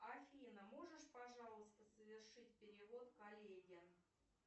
афина можешь пожалуйста совершить перевод коллеге